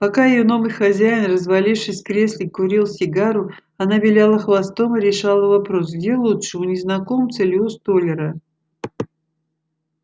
пока её новый хозяин развалившись в кресле курил сигару она виляла хвостом и решала вопрос где лучше у незнакомца или у столяра